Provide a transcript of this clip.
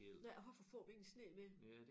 Ja hvorfor får vi ingen sne mere?